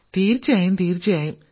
തീർച്ചയായും തീർച്ചയായും